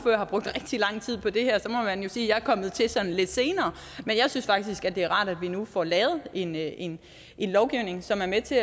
man jo sige at jeg er kommet til sådan lidt senere men jeg synes faktisk det er rart at vi nu får lavet en en lovgivning som er med til